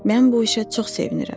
Mən bu işə çox sevinirəm.